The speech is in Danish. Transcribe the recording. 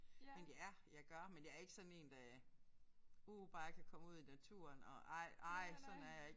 Men ja jeg gør men jeg er ikke sådan en der uh bare jeg kan komme ud i naturen og ej ej sådan er jeg ikke